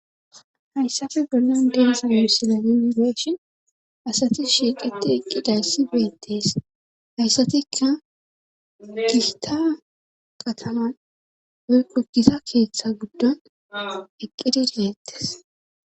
hayssafi gollan dens gessina yunibeeshin asati shieqeti eqqidayssi beettees hayssatikka gishta qataman woykkogiza keeththa guddon eqqide diyettes